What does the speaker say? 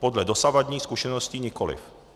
Podle dosavadních zkušeností nikoliv."